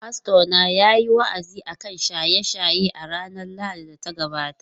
Fastona yayi wa’azi akan shaye-shaye a ranar Lahadin da ta gabata.